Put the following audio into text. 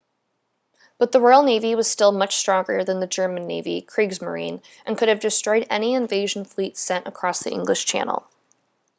but the royal navy was still much stronger than the german navy kriegsmarine” and could have destroyed any invasion fleet sent across the english channel